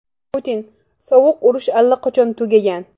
Putin: Sovuq urush allaqachon tugagan.